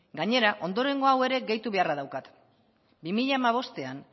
gainera ondorengo hau ere gehitu beharra daukat bi mila hamabostean